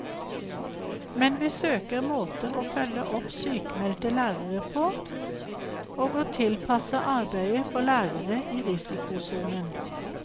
Men vi søker måter å følge opp sykmeldte lærere på, og å tilpasse arbeidet for lærere i risikosonen.